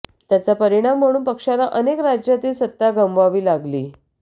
त्याचा परिणाम म्हणून पक्षाला अनेक राज्यातील सत्ता गमवावी लागली